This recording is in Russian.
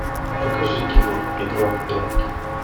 покажи кино игра в прятки